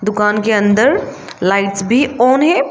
दुकान के अंदर लाइट्स भी ऑन है।